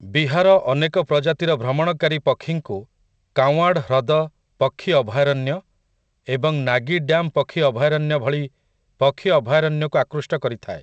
ବିହାର ଅନେକ ପ୍ରଜାତିର ଭ୍ରମଣକାରୀ ପକ୍ଷୀଙ୍କୁ କାଓ୍ୱାଁଡ ହ୍ରଦ ପକ୍ଷୀ ଅଭୟାରଣ୍ୟ ଏବଂ ନାଗୀ ଡ୍ୟାମ ପକ୍ଷୀ ଅଭୟାରଣ୍ୟ ଭଳି ପକ୍ଷୀ ଅଭୟାରଣ୍ୟକୁ ଆକୃଷ୍ଟ କରିଥାଏ ।